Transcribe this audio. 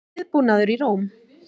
Viðbúnaður í Róm